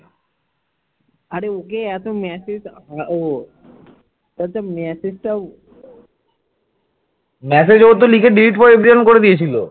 massage এও তো লিখে delete for everyone করে দিয়েছিল ।